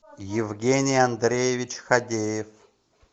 евгений андреевич хабеев